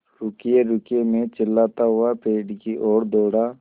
रुकिएरुकिए मैं चिल्लाता हुआ पेड़ की ओर दौड़ा